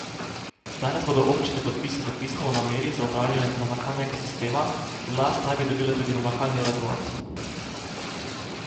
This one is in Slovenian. Danes bodo občine podpisale pismo o nameri za upravljanje namakalnega sistema, v last naj bi dobile tudi namakalni razvod.